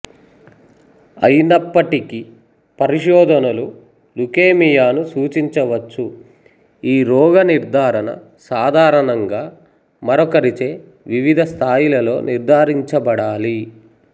అయినప్పటికీ పరిశోధనలు లుకేమియాను సూచించవచ్చు ఈ రోగ నిర్ధారణ సాధారణంగా మరొకరిచే వివిధ స్థాయిలలో నిర్ధారించబడాలి